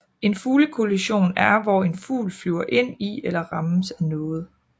En fuglekollision er hvor en fugl flyver ind i eller rammes af noget